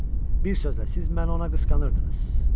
Bir sözlə, siz məni ona qısqanırdınız.